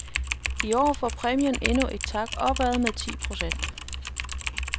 I år får præmien endnu en tak opad med ti procent.